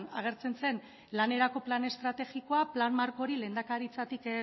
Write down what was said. agertzen zen lanerako plan estrategikoa plan markori lehendakaritzatik